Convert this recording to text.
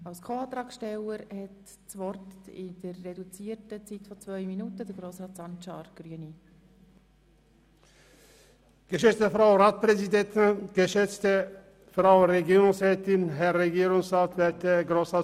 Die Anträge der Ziffern 4 und 5 der Kommissionsminderheit, der Grünen und der SPJUSO-PSA-Fraktion möchten, dass auf die Kürzungen im Behindertenbereich verzichtet wird.